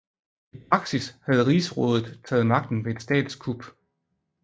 I praksis havde Rigsrådet taget magten ved et statskup